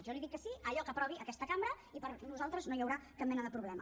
jo li dic que sí a allò que aprovi aquesta cambra i per nosaltres no hi haurà cap mena de problema